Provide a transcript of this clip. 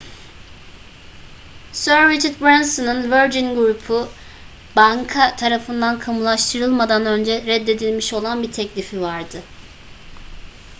sör richard branson'un virgin group'u banka tarafından kamulaştırılmadan önce reddedilmiş olan bir teklifi vardı